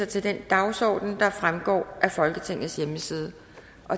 til den dagsorden der fremgår af folketingets hjemmeside